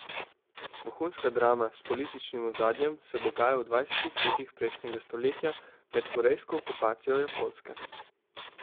Vohunska drama s političnim ozadjem se dogaja v dvajsetih letih prejšnjega stoletja med korejsko okupacijo Japonske.